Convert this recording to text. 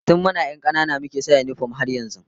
Tun muna 'yan kanana muke sa yinifom har yanzu